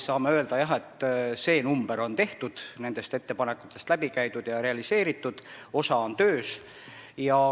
Saame öelda jah, et see osa nendest ettepanekutest on läbi käidud ja realiseeritud, osa on töös.